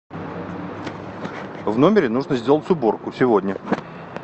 в номере нужно сделать уборку сегодня